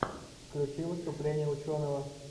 включи выступление ученого